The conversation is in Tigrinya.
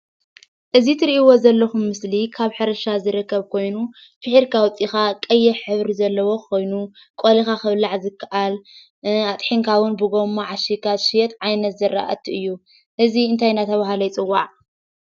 እዚ እትሪእዎ ዘለኩም ምስሊ ካብ ሕርሻ ዝርከብ ኮይኑ ፊሒርካ አውፂእካ ቀይሕ ሕብሪ ዘለዎ ኮይኑ ቆሊካ ክብላዕ ዝክእል አጥሒንካ እውን አብ ጎማ ዓሽግካ ዝሽየጥ ዓይነት ዝራእቲ እዩ፡፡ እዚ እንታይ እናተባህለ ይፅዋዕ?